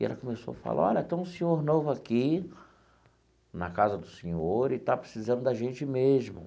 E ela começou a falar, olha, tem um senhor novo aqui, na casa do Senhor, e está precisando da gente mesmo.